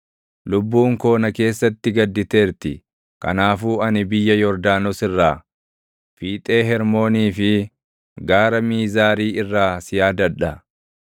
Lubbuun koo na keessatti gadditeerti; kanaafuu ani biyya Yordaanos irraa, fiixee Hermoonii fi Gaara Miizaarii irraa si yaadadha.